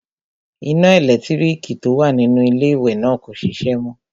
Iná ẹlẹ́lẹ̀tíríkì tó wà nínú iléwẹ̀ náà kò ṣiṣẹ́ mọ.